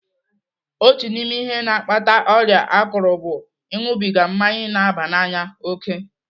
Otu n'ime ihe na-akpata ọrịa akụrụ bụ ịṅụbiga mmanya na-aba n'anya òkè.